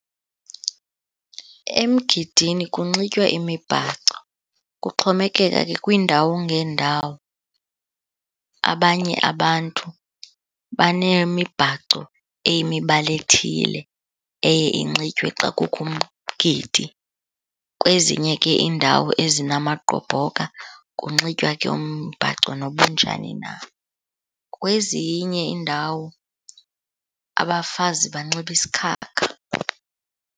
Emgidini kunxitywa imibhaco, kuxhomekeka ke kwiindawo ngeendawo. Abanye abantu banemibhaco eyimibala ethile eye inxitywe xa kukho umgidi. Kwezinye ke iindawo ezinamagqobhoka kunxitywa ke umbhaco noba unjani na. Kwezinye iindawo abafazi banxiba isikhakha.